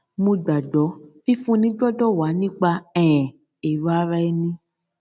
mo gbàgbó fífúnni gbọdọ wá nípa um èrò ara ẹni